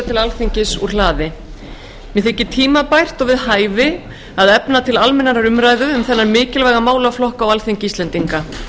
til alþingis úr hlaði mér þykir tímabært og við hæfi að efna til almennrar umræðu um þennan mikilvæga málaflokk á alþingi íslendinga